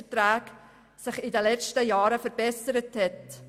Dieser Fall ist eine Ausnahme, bei der eben das System überreizt wurde.